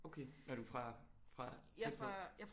Okay er du fra fra tæt på